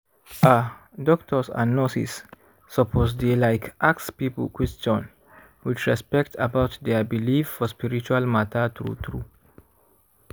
ah doctors and nurses suppose dey like ask people question with respect about dia believe for spiritual matter true true.